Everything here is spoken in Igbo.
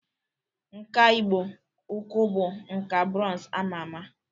Nkà igbo-ukwu bụ nkà brọnz ama ama